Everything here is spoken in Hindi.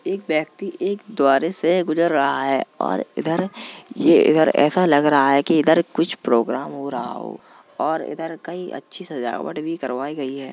एक व्यक्ति एक द्वारे से गुजर रहा है। और इधर ये इधर ऐसा लग रहा हैकि इधर कुछ प्रोग्राम हो रहा हो और इधर कई अच्छी सजावट भी करवाई गई है।